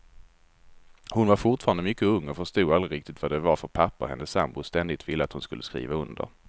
Hon var fortfarande mycket ung och förstod aldrig riktigt vad det var för papper hennes sambo ständigt ville att hon skulle skriva under.